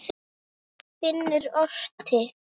Finnur orti.